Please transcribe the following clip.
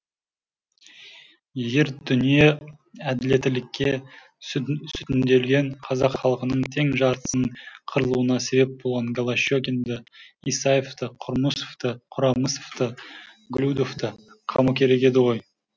егер дүние әділеттілікке сүтінделген қазақ халқының тең жартысының қырылуына себеп болған голощекинді исаевты құрамысовты голюдовты қамау керек еді ғой